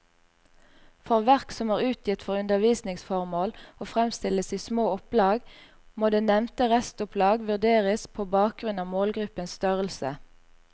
For verk som er utgitt for undervisningsformål og fremstilles i små opplag, må det nevnte restopplag vurderes på bakgrunn av målgruppens størrelse.